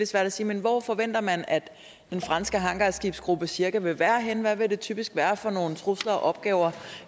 svært at sige men hvor forventer man at den franske hangarskibsgruppe cirka vil være henne hvad vil det typisk være for nogle trusler og opgaver